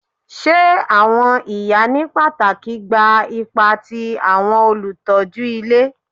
Ṣe awọn iya ni pataki gba ipa ti awọn olutọju ile